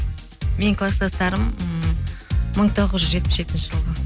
менің класстастарым ммм мың тоғыз жүз жетпіс жетінші жылғы